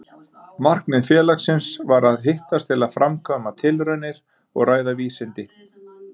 Markmið félagsins var að hittast til að framkvæma tilraunir og ræða vísindi.